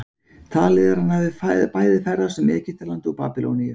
Talið er að hann hafi bæði ferðast um Egyptaland og Babýloníu.